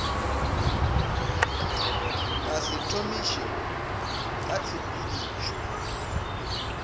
ka se thomiše ka ditshepedišo